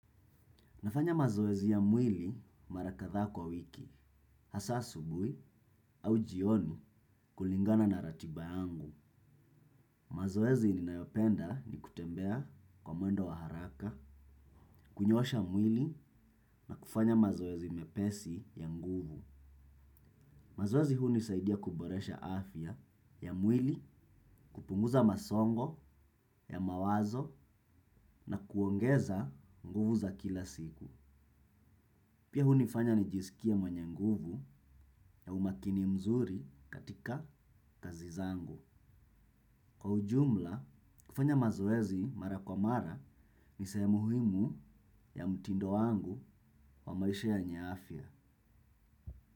Nafanya mazoezi ya mwili mara kathaa kwa wiki, hasa asubui au jioni kulingana na ratiba yangu. Mazoezi ninayopenda ni kutembea kwa mwendo wa haraka, kunyoosha mwili na kufanya mazoezi mepesi ya nguvu. Mazoezi huni saidia kuboresha afya ya mwili, kupunguza masongo ya mawazo na kuongeza nguvu za kila siku. Pia hunifanya nijisikie mwenye nguvu na umakini mzuri katika kazi zangu. Kwa ujumla, kufanya mazoezi mara kwa mara ni sehemu muhimu ya mtindo wangu wa maisha yenye afya.